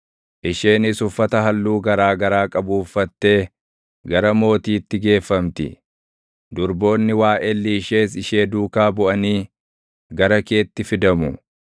Isheenis uffata halluu garaa garaa qabu uffattee // gara mootiitti geeffamti; durboonni waaʼelli ishees ishee duukaa buʼanii // gara keetti fidamu.